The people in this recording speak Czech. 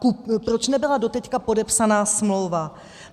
Proč nebyla doteď podepsána smlouva?